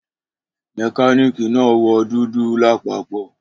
Mekaniki naa wọ dudu lapapọ